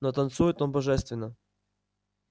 но танцует он божественно